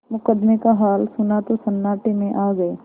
मुकदमे का हाल सुना तो सन्नाटे में आ गये